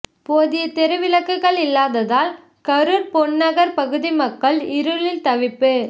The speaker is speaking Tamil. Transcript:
போதிய தெரு விளக்குகள் இல்லாததால் கரூர் பொன்நகர் பகுதி மக்கள் இருளில் தவிப்பு